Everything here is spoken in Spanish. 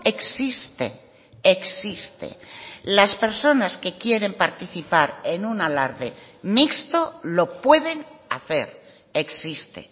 existe existe las personas que quieren participar en un alarde mixto lo pueden hacer existe